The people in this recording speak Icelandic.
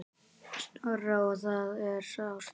Snorra og það er sárt.